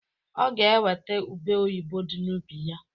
Ọ ga-eweta ube oyibo di n'ubi ya